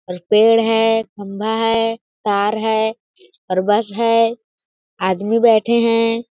और एक पेड़ है खंभा है तार है और बस है आदमी बैठे है।